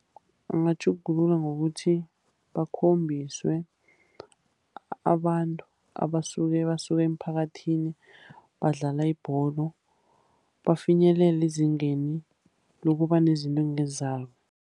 Bangatjhugulula ngokuthi bakhombiswe abantu abasuka basuke emphakathini badlala ibholo, bafinyelela ezingeni lokuba nezinto ekungezabo.